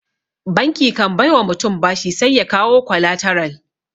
Banki kan bai wa mutum bashi sai ya kawo kwalataral.